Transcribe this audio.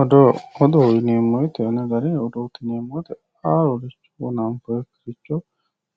Odoo, odoo yineemmo woyte haaroricho anfoonikkiricho